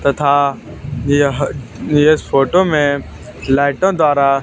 तथा यह इस फोटो में लाइटों द्वारा--